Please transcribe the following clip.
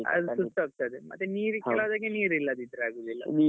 ಅದು ಸುಟ್ಟು ಹೋಗ್ತದೆ ಮತ್ತೆ ಕೆಲಾವ್ ದಕ್ಕೆ ನೀರ್ ಇಲ್ಲದಿದ್ರೆ ಆಗುದಿಲ್ಲ.